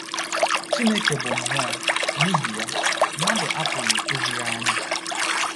“ Chineke bụ Mmụọ, ” n’ihi ya, mmadụ apụghị ịhụ ya anya.